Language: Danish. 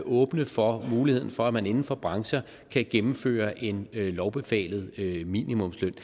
åbne for muligheden for at man inden for brancher kan gennemføre en lovbefalet minimumsløn og